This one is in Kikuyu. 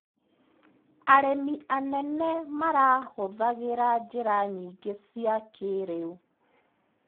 Arĩmi anene marahũthĩra njĩra nyingĩ cia kĩrĩu.